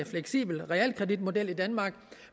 fleksibel realkreditmodel i danmark